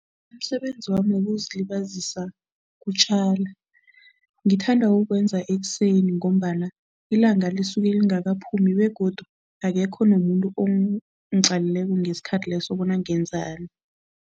Umsebenzi wami wokuzilibazisa kutjala. Ngithanda ukuwenza ekuseni ngombana ilanga lisuke lingakaphumi begodu akekho nomuntu ongiqalileko ngesikhathi leso bona ngenzani.